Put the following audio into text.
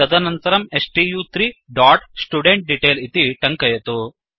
तदनन्तरं स्तु3 dot student detail इति टङ्कयतु